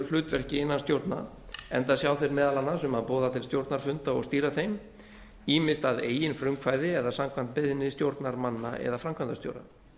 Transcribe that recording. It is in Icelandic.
hlutverki innan stjórna enda sjá þeir meðal annars um að boða til stjórnarfunda og stýra þeim ýmist að eigin frumkvæði eða samkvæmt beiðni stjórnarmanna eða framkvæmdastjóra